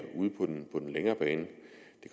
på den længere bane